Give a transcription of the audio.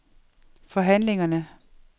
forhandlingerne